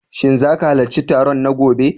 Shin za ka halarci taron na gobe?